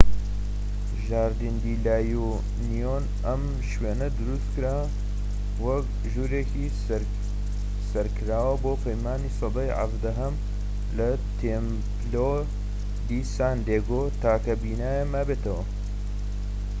ژاردین دی لا یونیۆن. ئەم شوێنە دروستکرا وەکو ژوورێکی سەرکراوە بۆ پەیمانی سەدەی ١٧هەم کە تێمپلۆ دی سان دێگۆ تاکە بینایە مابێتەوە